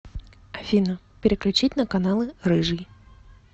афина переключить на каналы рыжий